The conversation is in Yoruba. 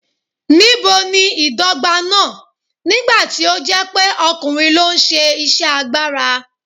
Níbo ni ìdọ́gba náà, nígbà tí ó jẹ́ pé ọkùnrin ló ń ṣe iṣẹ́ agbára?